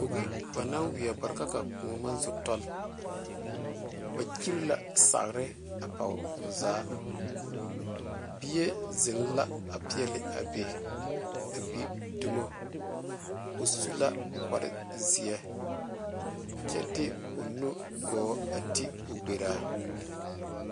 Bogi ba naŋ wiɛ bare ka a kõɔ maŋ zo tɔgle ba kyire la sagre a poɔ o zaa bie zeŋ la a peɛle a be a gbe domo o su la kpare ziɛ kyɛ de o nu gɔɔ a ti o gberaa.